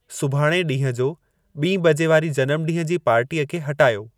सुभाणे ॾींहं जो ॿीं बजे वारी जनमु ॾींहं जी पार्टीअ खे हटायो